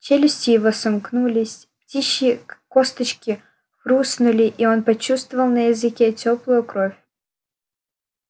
челюсти его сомкнулись птичьи косточки хрустнули и он почувствовал на языке тёплую кровь